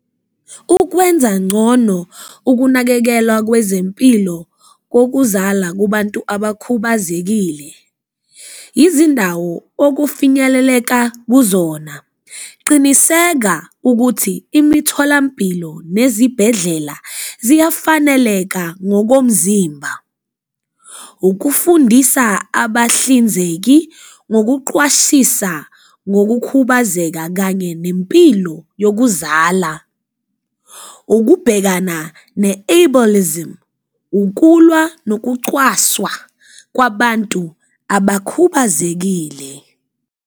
Ukwenza ngcono ukunakekelwa kwezempilo kokuzala kubantu abakhubazekile izindawo okufinyeleleka kuzona, qiniseka ukuthi imitholampilo nezibhedlela ziyafaneleka ngokomzimba, ukufundisa abahlinzeki ngokuqwashisa ngokukhubazeka kanye nempilo yokuzala. Ukubhekana ne-ablelism, ukulwa nokucwaswa kwabantu abakhubazekile.